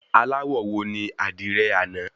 Aláwọ̀ wo ní àdìrẹ àná?